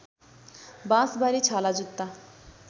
बाँसबारी छालाजुत्ता